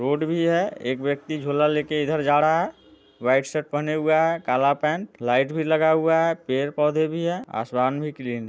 road भी है एक व्यक्ति झोला लेकर इधर जा रहा है व्हाइट शर्ट पहने हुआ है काला पेंट लाइट भी लगा हुआ है पेड़ पौधे भी हैं | आसमान भी क्लीन --